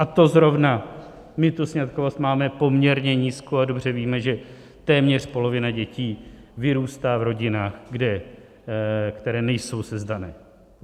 A to zrovna my tu sňatkovost máme poměrně nízkou a dobře víme, že téměř polovina dětí vyrůstá v rodinách, které nejsou sezdané.